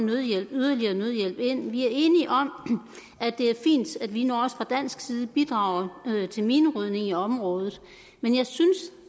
yderligere nødhjælp ind vi er enige om at det er fint at vi nu også fra dansk side bidrager til minerydning i området men jeg synes